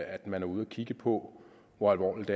at man er ude og kigge på hvor alvorligt